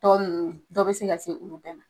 Tɔ nunnu, dɔ be se ka se olu bɛɛ ma.